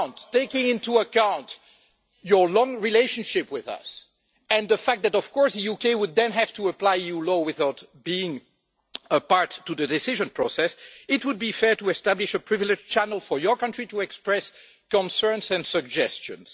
Taking into account your long relationship with us, and the fact that, of course, the UK would then have to apply EU law without being a part of the decision process, it would be fair to establish a privileged channel for your country to express concerns and suggestions.